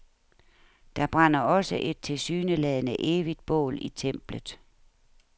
Der brænder også et tilsyneladende evigt bål i templet.